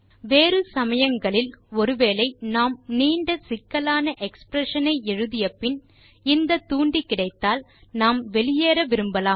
வேறு சமயங்களில் ஒரு வேளை நாம் நீண்ட சிக்கலான எக்ஸ்பிரஷன் ஐ எழுதியபின் இந்த தூண்டி கிடைத்தால் நாம் வெளியேற விரும்பலாம்